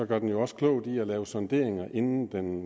gør den jo også klogt i at lave sonderinger inden den